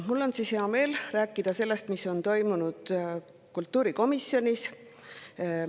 Mul on hea meel rääkida sellest, mis on toimunud kultuurikomisjonis.